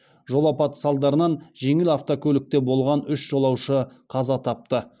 жол апаты салдарынан жеңіл авокөлікте болған үш жолаушы қаза тапты